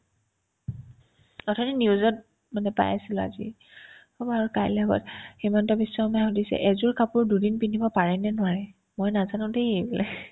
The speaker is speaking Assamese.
অথনি news ত মানে পাইছিলো আজি হ'ব আৰু কাইলে সভাত হিমন্ত বিশ্ব শৰ্মাই শুধিছে এজোৰ কাপোৰ দুদিন পিন্ধিব পাৰে নে নোৱাৰে মই নাজানো দেই এইবোলে